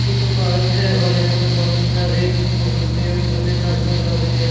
एक पार्क है और यहां पर बहुत सारे पेड़ पौधे नजर आ रहे है।